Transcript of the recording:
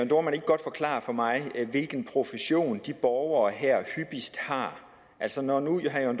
dohrmann ikke godt forklare for mig hvilken profession de her borgere hyppigst har altså når nu herre